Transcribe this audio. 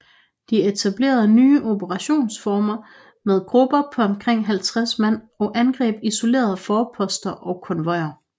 De etablerede nye operationsformer med grupper på omkring 50 mand og angreb isolerede forposter og konvojer